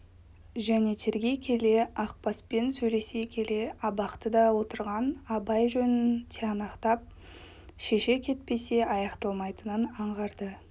және тергей келе ақбаспен сөйлесе келе абақтыда отырған абай жөнін тиянақтап шеше кетпесе аяқталмайтынын аңғарды